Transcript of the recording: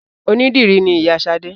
Onídìrí ni Ìyá Sadé